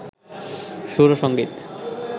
সুর ও সঙ্গীত